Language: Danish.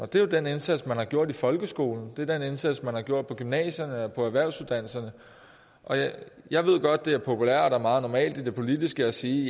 det er jo den indsats man har gjort i folkeskolen det er den indsats man har gjort på gymnasierne på erhvervsuddannelserne jeg ved godt at det er populært og meget normalt i det politiske at sige